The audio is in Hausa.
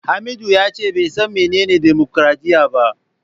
Hamisu yace bai san menene dimokradiyya ba.